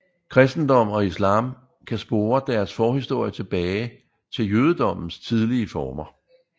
Kristendommen og islam kan spore deres forhistorie tilbage til jødedommens tidlige former